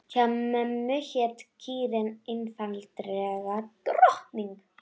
Hjá mömmu hét kýrin einfaldlega Drottning.